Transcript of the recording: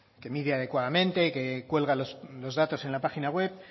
que mide adecuadamente que cuelga los datos en la página web